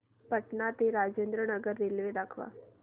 पटणा ते राजेंद्र नगर रेल्वे दाखवा